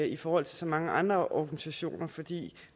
i forhold til så mange andre organisationer fordi